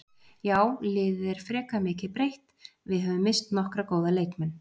Já liðið er frekar mikið breytt, við höfum misst nokkra góða leikmenn.